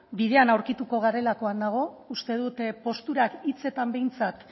bidean aurkituko garelakoan nago uste dut posturak hitzetan behintzat